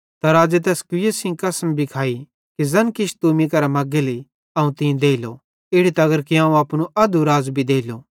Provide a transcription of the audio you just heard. त राज़े तैस कुईए सेइं कसम भी खाइ कि ज़ैन किछ तू मीं केरां मग्गेली अवं तीं देलो इड़ी तगर कि अवं अपनू अध्धू राज़ भी देलो